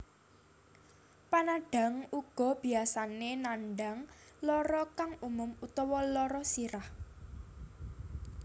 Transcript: Panandhang uga biyasane nandhang lara kang umum utawa lara sirah